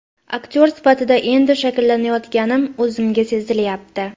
Aktyor sifatida endi shakllanayotganim o‘zimga sezilyapti.